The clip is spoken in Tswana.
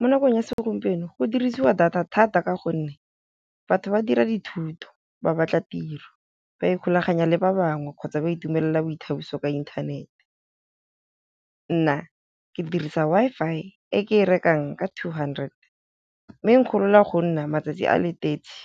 Mo nakong ya segompieno go dirisiwa data thata ka gonne, batho ba dira dithuto, ba batla tiro, ba ikgulaganya le ba bangwe kgotsa ba itumelela boithabiso ka inthanete. Nna ke dirisa Wi-Fi e ke e rekang ka two hundred, mme e nkgorola go nna matsatsi a le thirty,